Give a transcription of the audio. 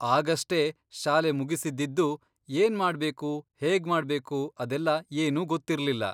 ಆಗಷ್ಟೇ ಶಾಲೆ ಮುಗಿಸಿದ್ದಿದ್ದು, ಏನ್ಮಾಡ್ಬೇಕು ಹೇಗ್ಮಾಡ್ಬೇಕು ಅದೆಲ್ಲ ಏನೂ ಗೊತ್ತಿರ್ಲಿಲ್ಲ.